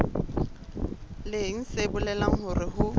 leng se bolelang hore ho